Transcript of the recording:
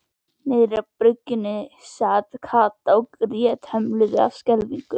Niðri í byrginu sat Kata og grét lömuð af skelfingu.